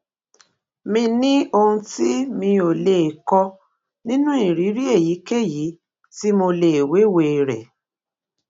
mi ní ohun tí mi ò lè kó nínú ìrírí èyíkéyìí tí mo lè wéwèé rè